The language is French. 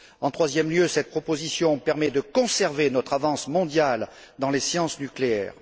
En troisième lieu, cette proposition permet de conserver notre avance mondiale dans les sciences nucléaires.